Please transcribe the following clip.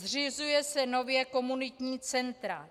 Zřizují se nově komunitní centra.